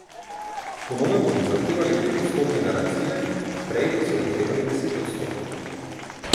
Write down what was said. Po novem bodo zahtevali petodstotne garancije, prej so zahtevali desetodstotne.